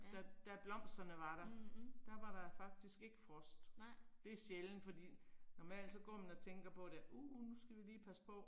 Da da blomsterne var der, der var der faktisk ikke frost. Det er sjældent, fordi normalt så går man og tænker på da uh nu skal vi lige passe på